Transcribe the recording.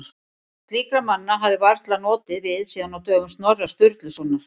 Slíkra manna hefði varla notið við síðan á dögum Snorra Sturlusonar.